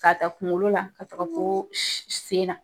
K'a taa kunkolo la ka taga fo sen na